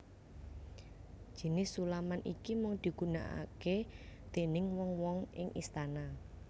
Jinis sulaman iki mung dugunakake déning wong wong ing istana